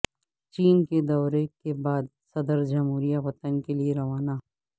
چین کے دورے کے بعد صدر جمہوریہ وطن کے لئے روانہ